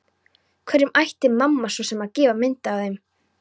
Hverjum ætti mamma svo sem að gefa mynd af þeim?